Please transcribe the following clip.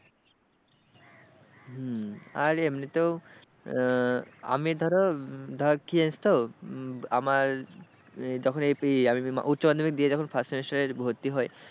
হম আর এমনিতেও আমি ধরো ধর কি হয়েছে তো আমার তখন আমি উচ্চমাধ্যমিক দিয়ে যখন first year এ ভর্তি হই,